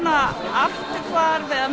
afturhvarf eða